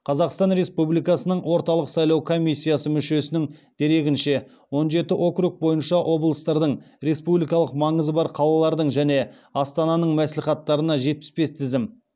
қазақстан республикасының орталық сайлау комиссиясы мүшесінің дерегінше он жеті округ бойынша облыстардың республикалық маңызы бар қалалардың және астананың мәслихаттарына жетпіс бес тізім